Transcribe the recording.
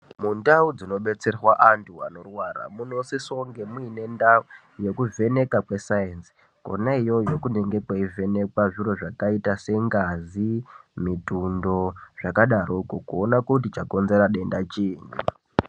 Mundau dzinodetserwa antu anorwara munosise kunge muine ndau yekuvheneka kwesainzi. Kona iyoyo kunenge kweivhenekwe zviro zvakaita sengazi, mitundo, zvakadaroko, kuona kuti chakonzera denda chinyini.